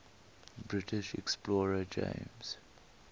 british explorer james